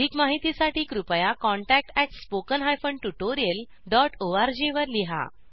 अधिक माहितीसाठी कृपया contact at spoken hyphen tutorial dot O R G वर लिहा